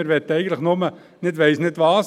Wir möchten nicht ich weiss nicht was;